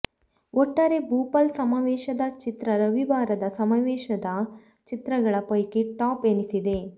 ಒಟ್ಟಾರೆ ಭೋಪಾಲ್ ಸಮಾವೇಶದ ಚಿತ್ರ ರವಿವಾರದ ಸಮಾವೇಶದ ಚಿತ್ರಗಳ ಪೈಕಿ ಟಾಪ್ ಎನಿಸಿದೆ